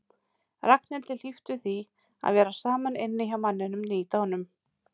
Ragnhildi hlíft við því að vera saman inni hjá manninum nýdánum.